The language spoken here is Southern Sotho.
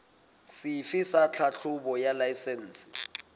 sefe sa tlhahlobo ya laesense